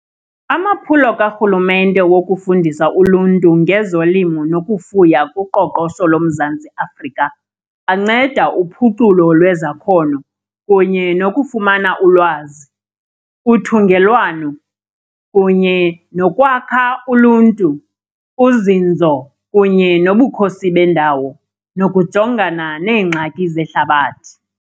Amaphulo karhulumente wokufundisa uluntu ngezolimo nokufuya kuqoqosho loMzantsi Afrika anceda uphuculo lwezakhono kunye nokufumana ulwazi, uthungelwano kunye nokwakha uluntu, uzinzo kunye nobukhosi bendawo, nokujongana neengxaki zehlabathi.